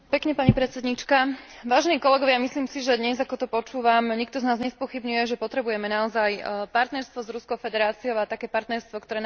Myslím si, že dnes, ako to počúvam, nikto z nás nespochybňuje, že potrebujeme naozaj partnerstvo s Ruskou federáciou a také partnerstvo, ktoré naozaj bude založené na vzájomnej dôvere.